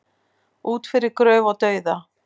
Út yfir gröf og dauða